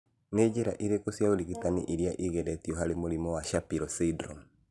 Nĩ njĩra irĩkũ cia ũrigitani irĩa igeretio harĩ mũrimũ wa Shapiro syndrome.